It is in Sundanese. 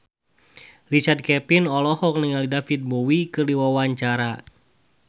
Richard Kevin olohok ningali David Bowie keur diwawancara